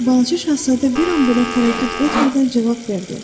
Balaca Şahzadə bir an belə tərəddüd etmədən cavab verdi.